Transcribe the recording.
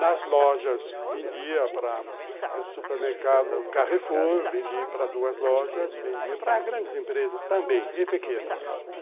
Nas lojas vendia para supermercado Carrefour, vendia para duas lojas, vendia para grandes empresas também e pequenas.